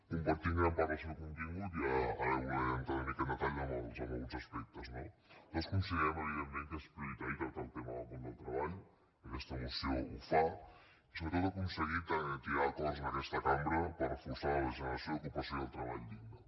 compartim gran part del seu contingut i ara voldré entrar una mica en detall amb alguns aspectes no tots considerem evidentment que és prioritari tractar el tema del món del treball i aquesta moció ho fa i sobretot aconseguir també tirar acords en aquesta cambra per forçar la generació d’ocupació i el treball digne